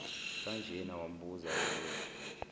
kanjena wambuza elokhu